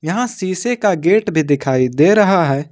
यहां शीशे का गेट भी दिखाई दे रहा है।